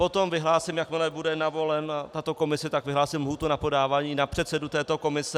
Potom vyhlásím, jakmile bude navolena tato komise, tak vyhlásím lhůtu na podávání na předsedu této komise.